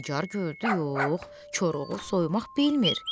Nigar gördü yox, Koroğlu soyumaq bilmir.